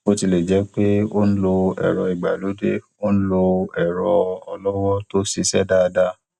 bó tilẹ jẹ pé ó ń lo ẹrọ ìgbàlódé ó ń lo ẹrọ ọlọwọ tó ṣiṣẹ dáadáa